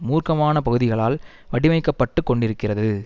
மூர்க்கமான பகுதிகளால் வடிவமைக்கப்பட்டுக் கொண்டிருக்கிறது